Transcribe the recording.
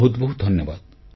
ବହୁତ ବହୁତ ଧନ୍ୟବାଦ